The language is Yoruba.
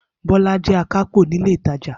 Bola jẹ akápò ni ile itaja.